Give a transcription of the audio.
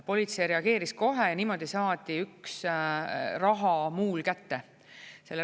Politsei reageeris kohe ja niimoodi saadi üks rahamuul kätte.